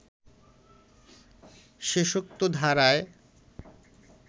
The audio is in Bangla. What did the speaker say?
শেষোক্ত ধারায়